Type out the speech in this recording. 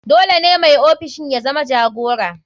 Dole ne mai ofishin ya zama jagora.